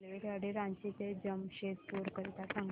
रेल्वेगाडी रांची ते जमशेदपूर करीता सांगा